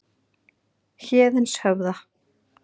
Héðinshöfða